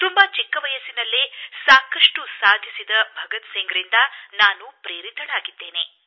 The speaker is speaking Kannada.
ತುಂಬಾ ಚಿಕ್ಕ ವಯಸ್ಸಿನಲ್ಲೇ ಸಾಕಷ್ಟು ಸಾಧಿಸಿದ ಭಗತ್ ಸಿಂಗ್ ರಿಂದ ನಾನು ಪ್ರೇರಿತಳಾಗಿದ್ದೇನೆ